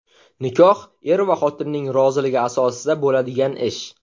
Nikoh er va xotinning roziligi asosida bo‘ladigan ish.